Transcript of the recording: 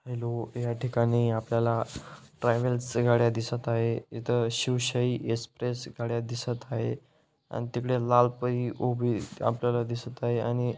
hello या ठिकाणी आपल्याला ट्रॅव्हल्स च्या गाड्या दिसत आहे इथ शिवशाई एक्स्प्रेस गाड्या दिसत आहे आण तिकडे लाल पै उभी आपल्याला दिसत आहे आणि--